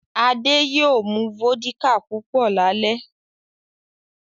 Adé ma mu Fọ́díkà púpọ̀ lálẹ́